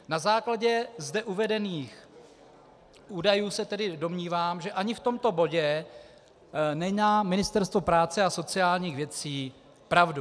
Na základě zde uvedených údajů se tedy domnívám, že ani v tomto bodě nemá Ministerstvo práce a sociálních věcí pravdu.